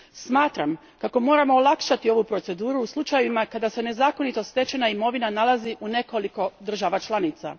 Smatram kako moramo olakšati ovu proceduru u slučajevima kada se nezakonito stečena imovina nalazi u nekoliko država članica.